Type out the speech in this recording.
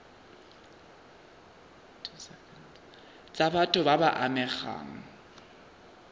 tsa batho ba ba amegang